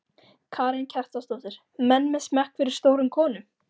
Karen Kjartansdóttir: Menn með smekk fyrir stórum konum?